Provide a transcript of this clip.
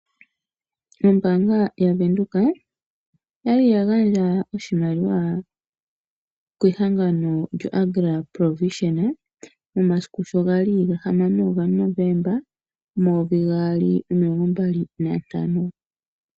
Ombaanga ya Venduka oyali ya gandja oshimaliwa kehangano lyo Agra Provision, momasiku sho gali ga hamano ga Novomba omayovi gaali nomilongo mbali na ntano.